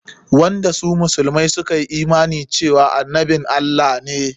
Wanda su musulmai suka yi imani cewa shi annabin Allah ne.